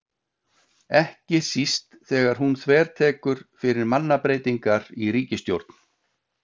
Ekki síst þegar hún þvertekur fyrir mannabreytingar í ríkisstjórn.